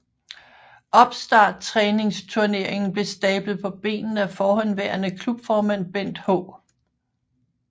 Opstarttræningsturneringen blev stablet på benene af forhenværende klubformand Bent H